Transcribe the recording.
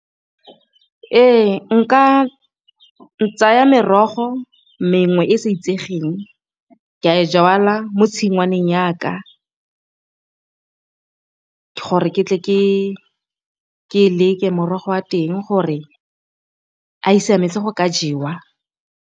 Ee nka tsaya merogo mengwe e e sa itsegeng ke a e jalwa mo tshingwaneng ya ka ke gore ke tle ke e leke morogo wa teng gore a e siametse go ka jewa.